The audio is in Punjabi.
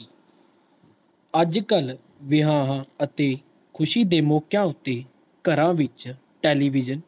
ਅੱਜ ਕਲ ਵਿਆਹ ਅਤੇ ਖੁਸ਼ੀ ਦੇ ਮੌਕਿਆਂ ਉਤੇ ਘਰਾਂ ਵਿਚ television